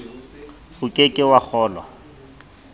o ke ke wa kgolwa